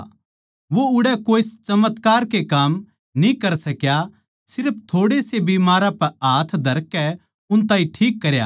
वो उड़ै कोए चमत्कार के काम न्ही कर सक्या सिर्फ थोड़ेसे बीमारां पै हाथ धरकै उन ताहीं ठीक करया